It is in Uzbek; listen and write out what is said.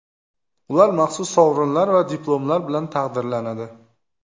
Ular maxsus sovrinlar va diplomlar bilan taqdirlanadi.